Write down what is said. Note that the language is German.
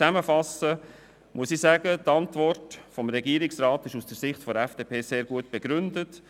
Zusammenfassend ist die Antwort des Regierungsrats aus Sicht der FDP sehr gut begründet.